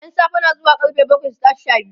ƴan safe na zuwa karfe bakwai su tashi Sha biyu